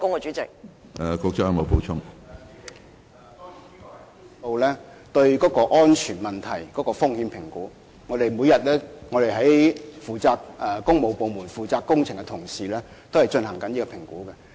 主席，這項質詢涉及到對安全問題的風險評估，負責工程的同事每天都進行評估。